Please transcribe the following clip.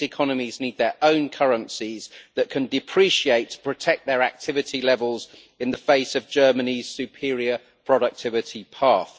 These economies need their own currencies that can depreciate to protect their activity levels in the face of Germany's superior productivity path.